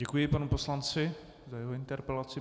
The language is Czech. Děkuji panu poslanci za jeho interpelaci.